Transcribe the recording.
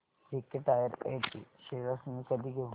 JK Tyre and Ind shares मी कधी घेऊ